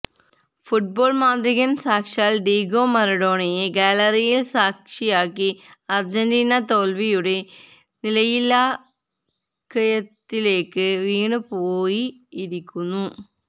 football മാന്ത്രികൻ സാക്ഷാൽ Diego മറഡോണയെ ഗാലറിയിൽ സാക്ഷിയാക്കി അർജന്റീന തോൽവിയുടെ നിലയില്ലാക്കയത്തിലേക്ക് വീണുപോയിരിക്കുന്നു